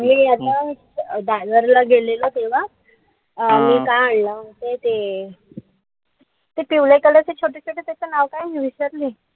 ते आता दादर ला गेलेलो तेव्हा मी काय आणलं माहितीये? त पिवळे color चे छोटे-छोटे त्याच नाव काय? मी विसरले.